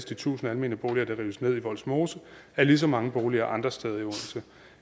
de tusind almene boliger der rives ned i vollsmose af lige så mange boliger andre steder i odense